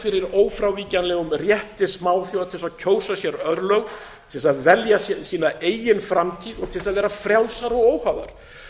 fyrir ófrávíkjanlegum rétti smáþjóða til þess að kjósa sér örlög til þess að velja sér sína eigin framtíð og til þess að vera frjálsar og óháðar